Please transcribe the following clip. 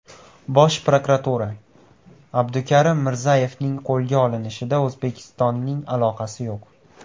Bosh prokuratura: Abdukarim Mirzayevning qo‘lga olinishida O‘zbekistonning aloqasi yo‘q.